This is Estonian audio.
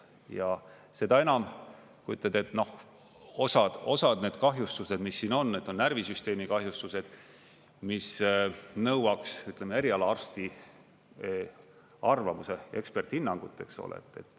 Ja seda enam, kui ütled, et osad need kahjustused, mis siin on, et on närvisüsteemi kahjustused, mis nõuaks erialaarsti arvamust ja eksperthinnangut.